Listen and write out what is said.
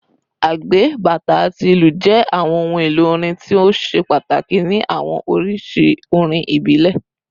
Agbe, bata, ati ilu jẹ awọn ohun-elo orin ti o ṣe pataki ni awọn oriṣi orin ibile